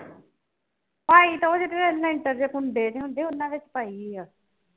ਅਹੀ ਤੇ ਉਹ ਜਿਥੇ ਲੈਟਰ ਜਾਂ ਪੌਂਦੇ ਜੇ ਹੁੰਦੇ ਉਨ੍ਹਾਂ ਤੇ ਪਾਈ ਆ